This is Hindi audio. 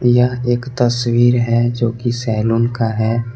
यह एक तस्वीर है जो कि सैलून का है।